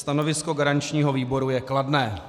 Stanovisko garančního výboru je kladné.